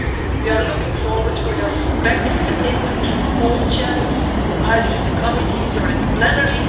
We are looking forward to your feedback and input through all channels, either in the committees or in the plenary.